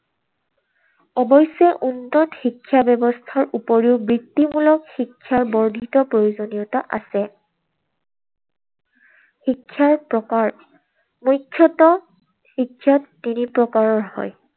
অৱশ্যে উন্নত শিক্ষা ব্যৱস্থাৰ উপৰিও বৃত্তিমূলক শিক্ষাৰ বৰ্ধিত প্ৰয়োজনীয়তা আছে। শিক্ষাৰ প্ৰকাৰ। মুখ্যতঃ শিক্ষা তিনি প্ৰকাৰৰ হয়।